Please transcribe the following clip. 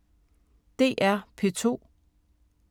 DR P2